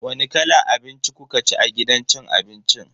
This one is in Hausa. Wani kalan abinci kukaci a gidan cin abincin?